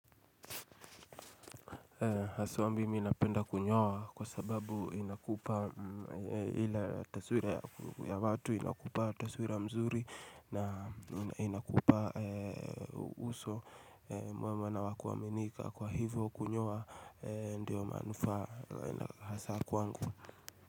Haswa mimi napenda kunyoa kwa sababu inakupa ila taswira ya watu inakupa taswira mzuri na inakupa uso mwema na wakuaminika kwa hivyo kunyoa ndiyo manufaa hasa kwangu.